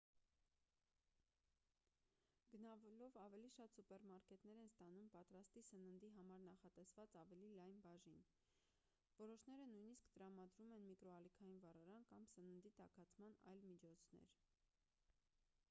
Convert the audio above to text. գնալով ավելի շատ սուպերմարկետներ են ստանում պատրաստի սննդի համար նախատեսված ավելի լայն բաժին որոշները նույնիսկ տրամադրում են միկրոալիքային վառարան կամ սննդի տաքացման այլ միջոցներ